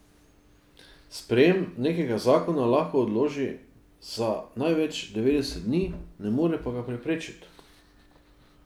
Sprejem nekega zakona lahko odloži za največ devetdeset dni, ne more pa ga preprečiti.